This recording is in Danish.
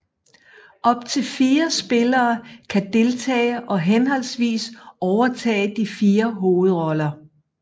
Op til fire spillere kan deltage og henholdsvis overtage de fire hovedroller